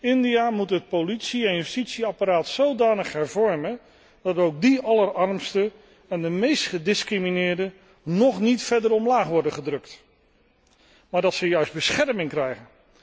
India moet het politie en justitieapparaat zodanig hervormen dat ook die allerarmsten en de meest gediscrimineerden niet nog verder omlaag worden gedrukt, maar dat zij juist bescherming krijgen.